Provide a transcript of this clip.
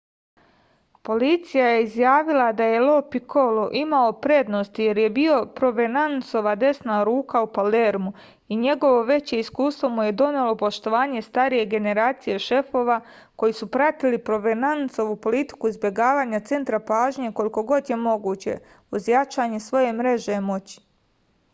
policija je izjavila da je lo pikolo imao prednost jer je bio provenancova desna ruka u palermu i njegovo veće iskustvo mu je donelo poštovanje starije generacije šefova koji su pratili provenancovu politiku izbegavanja centra pažnje koliko god je moguće uz jačanje svoje mreže moći